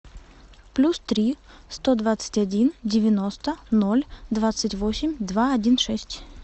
плюс три сто двадцать один девяносто ноль двадцать восемь два один шесть